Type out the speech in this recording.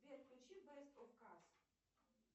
сбер включи бест оф кас